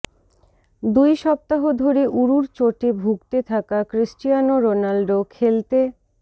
দুই সপ্তাহ ধরে ঊরুর চোটে ভুগতে থাকা ক্রিস্টিয়ানো রোনালদো খেলতে